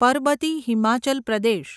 Parbati Himachal Pradesh